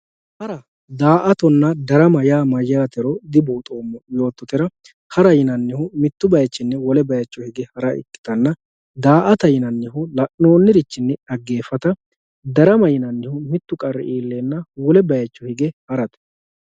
hara daa"atonna darama yaa mayyaatero dibuuxoommo yoottotera hara yinannihu mittu bayiichinni wole bayiicho hara ikkitanna daa"ata yinannihu la'noonnirichinni xaggeeffata darama yinannihu mittu qarri iilleenna wole bayiicho hige harate.